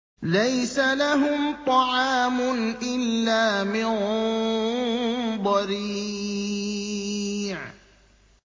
لَّيْسَ لَهُمْ طَعَامٌ إِلَّا مِن ضَرِيعٍ